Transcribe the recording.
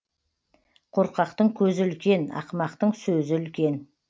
қорқақтың көзі үлкен ақымақтың сөзі үлкен